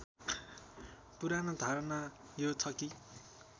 पुरानो धारणा यो छ कि